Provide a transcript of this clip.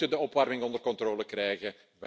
We moeten de opwarming onder controle krijgen.